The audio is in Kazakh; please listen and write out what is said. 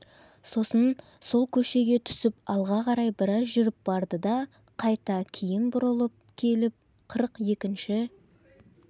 сосын сол көшеге түсіп алға қарай біраз жүріп барды да қайта кейін бұрылып келіп қырық екінші